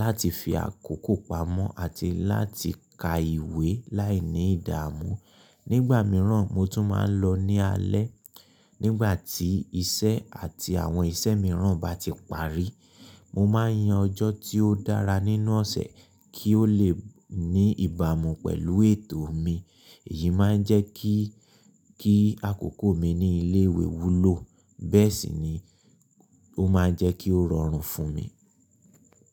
láti fi àkókò pamọ́ àti láti ka ìwé láìní ìdààmú. Nígbà mìíràn, mo tún máa ń lọ ní alẹ́ nígbà tí iṣẹ́ àti àwọn iṣẹ́ mìíràn bá ti parí. Mo máa ń yan ọjọ́ tí ó dára nínú ọ̀sẹ̀ kí ó lè ní ìbámu pẹ̀lú ètò mi. Èyí máa ń jẹ́ kí kí àkókò mi ní ilé ìwé wúlò, bẹ́ẹ̀ sì ni ó máa ń jẹ́ kí ó rọrùn fún mi.